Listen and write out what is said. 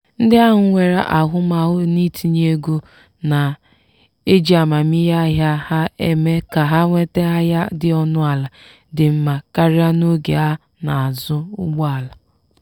“ndị ahụ nwere ahụmahụ n’itinye ego na-eji amamihe ahịa ha eme ka ha nweta ahịa dị ọnụala dị mma karịa n'oge ha na-azụ ụgbọala.”